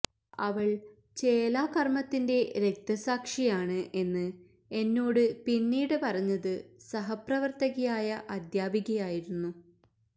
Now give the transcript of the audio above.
അവൾ ചേലാകർമത്തിന്റെ രക്തസാക്ഷിയാണ് എന്ന് എന്നോട് പിന്നീട് പറഞ്ഞത് സഹപ്രവർത്തകയായ അധ്യാപികയായിരുന്നു